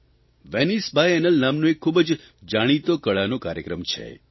Venice biennale નામનો એક ખૂબ જાણીતો કળાનો કાર્યક્રમ છે